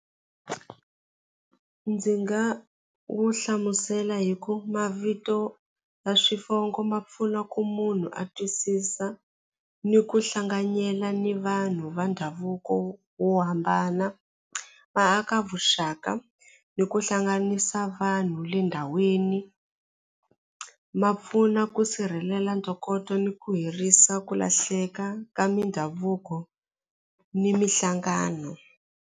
Ndzi nga wu hlamusela hi ku mavito na swivongo ma pfuna ku munhu a twisisa ni ku hlanganyela ni vanhu va ndhavuko wo hambana va aka vuxaka ni ku hlanganisa vanhu le ndhawini ma pfuna ku sirhelela ntokoto ni ku herisa ku lahleka ka mindhavuko ni minhlangano.